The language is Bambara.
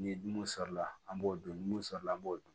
Ni mun sɔrɔla an b'o dun mun sɔrɔ an b'o dun